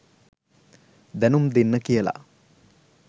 දැනුම් දෙන්න කියලා.